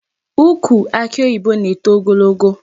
Ukwu akị oyibo na-eto ogologo.